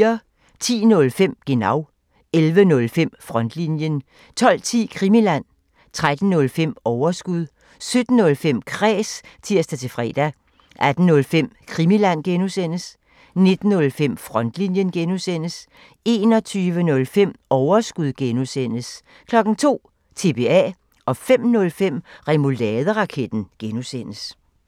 10:05: Genau 11:05: Frontlinjen 12:10: Krimiland 13:05: Overskud 17:05: Kræs (tir-fre) 18:05: Krimiland (G) 19:05: Frontlinjen (G) 21:05: Overskud (G) 02:00: TBA 05:05: Remouladeraketten (G)